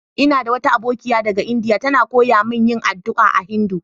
Ina da wata abokiya daga kasan lndia, ta na koyya mun yin addu'a a Hindu.